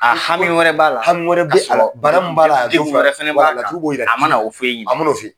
A hami wɛrɛ b'a la, hami wɛrɛ bɛ a la, ka sɔrɔ, bana min b'a la ,degun wɛrɛ fɛnɛ b'a la, laturu b'o yira a ma na o f'i ye. A ma na o f'i ye.